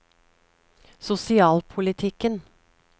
sosialpolitikken